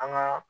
An ka